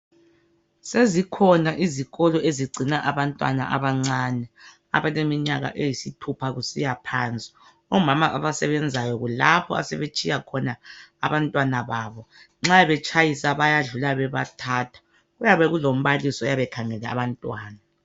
Sezikhona izikolo ezigcina abantwana abancane abaleminyala eyisithulha kusiyaphansi omama abasebenzayo kulapho asebetshiyakhona abantwana babo nxa betshayisa bayadlula bebathatha kuyabe kulombalisi oyabe ekhangele abantwana.